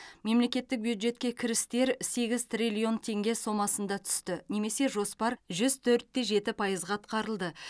мемлекеттік бюджетке кірістер сегіз триллион теңге сомасында түсті немесе жоспар жүз төрт те жеті пайызға атқарылды